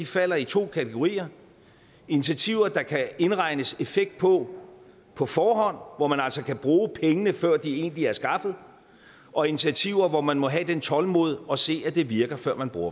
falder i to kategorier initiativer der kan indregnes en effekt på på forhånd og hvor man altså kan bruge pengene før de egentlig er skaffet og initiativer hvor man må have det tålmod at se at det virker før man bruger